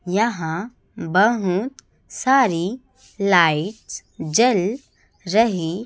यहां बहुत सारी लाइट जल रही--